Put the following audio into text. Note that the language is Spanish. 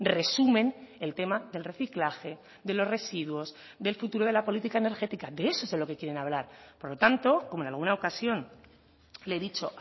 resumen el tema del reciclaje de los residuos del futuro de la política energéticade eso es de lo que quieren hablar por lo tanto como en alguna ocasión le he dicho